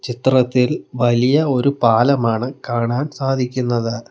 ചിത്രത്തിൽ വലിയ ഒരു പാലമാണ് കാണാൻ സാധിക്കുന്നത്.